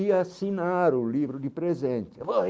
ia assinar o livro de presente.